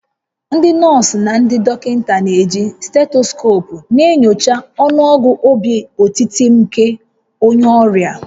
Ndị nọọsụ na ndị dọkịta na-eji stetoskoopu na-enyocha ọnụọgụ obi otiti nke onye ọrịa